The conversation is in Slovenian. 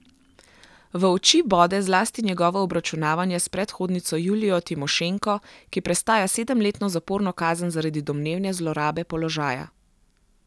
V oči bode zlasti njegovo obračunavanje s predhodnico Julijo Timošenko, ki prestaja sedemletno zaporno kazen zaradi domnevne zlorabe položaja.